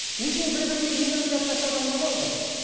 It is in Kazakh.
екеуі бір бірімен үйленіп жатса сонда не болды